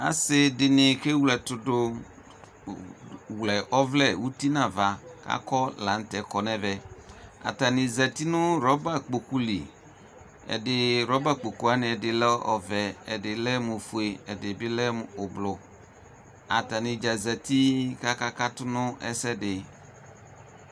asɩdɩnɩ kʋ ewle ɛtʋdʋ wlɛ ɔvlɛ uti nʋ ava kɔ lanʋtɛ kɔ nʋ ɛvɛ atanɩ zati ʋtɩ nʋ rɔba kpokʋlɩ rɔba kpokʋ ɛdɩ lɛ ɔvɛ kʋ ɛdɩ lɛ ofue ɛdɩ ʋblʋ atanɩdza zati kʋ akakatʋ nʋ ɛsɛ